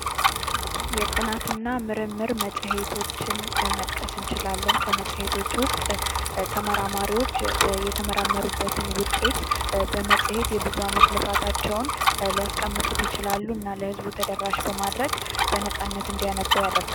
የጥናት እና ምርምር መጽሔቶችን መጥቀስ እንችላለን ከመፅሔቶች ውስጥ ተመራማሪዎች የተመራመሩበትን ውጤት በመጽሔት የብዙ አመት ልፋታቸውን ሊያስቀምጡት ይችላሉ። እና ለህዝቡ ተደራሽ በማድረግ በነፃነት እንዲያነቡ ያደርጋል።